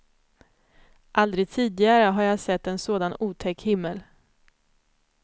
Aldrig tidigare har jag sett en sådan otäck himmel.